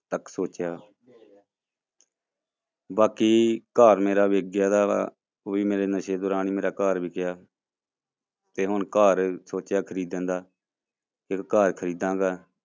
ਤੱਕ ਸੋਚਿਆ ਬਾਕੀ ਘਰ ਮੇਰਾ ਵਿੱਕ ਗਿਆ, ਉਹ ਵੀ ਮੇਰਾ ਨਸ਼ੇ ਦੌਰਾਨ ਹੀ ਮੇਰਾ ਘਰ ਵਿੱਕਿਆ ਤੇ ਹੁਣ ਘਰ ਸੋਚਿਆ ਖ਼ਰੀਦਣ ਦਾ ਇੱਕ ਘਰ ਖ਼ਰੀਦਾਂਗਾ।